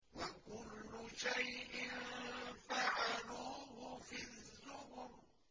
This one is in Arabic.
وَكُلُّ شَيْءٍ فَعَلُوهُ فِي الزُّبُرِ